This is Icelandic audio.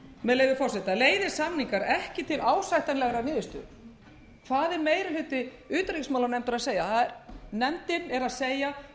með leyfi forseta leiði samningar ekki til ásættanlegrar niðurstöðu hvað er meiri hluti utanríkismálanefndar að segja nefndin er að segja það er hugsanlegt að við náum